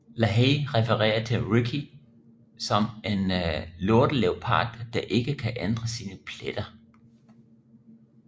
Lahey referer til Ricky som en lorteleopard der ikke kan ændre sine pletter